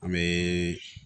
An bɛ